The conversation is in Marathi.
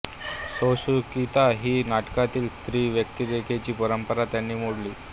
सोशिकता ही नाटकांतील स्त्री व्यक्तिरेखांची परंपरा त्यांनी मोडली